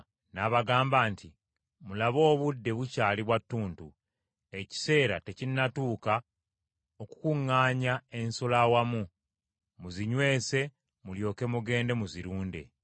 N’abagamba nti, “Mulabe, obudde bukyali bwa ttuntu, ekiseera tekinnatuuka okukuŋŋaanya ensolo awamu, muzinywese mulyoke mugende muzirunde.”